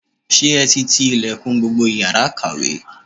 Ṣé ẹ ti ti ilẹ̀kùn gbogbo yàrá ìkàwé?